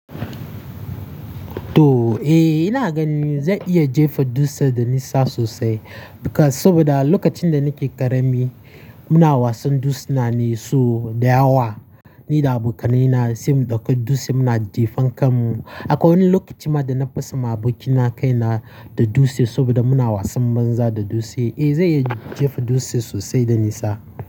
To, eh, ina ganin zan iya jefa dutse da nisa sosai. Saboda lokacin da nake ƙarami muna wasan dutse na neso da yawa. Ni da abokananina sai muka ɗauki dutse muna jefa kan mu. Akwai wani lokaci ma da na fasa ma abokina kai na da dutse saboda muna wasan banza da dutse. Eh, zai iya jefa dutse sosai da nisa.